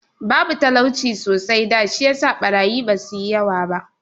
Babu talauci sosai da, shi yasa ɓarayi ba su yi yawa ba.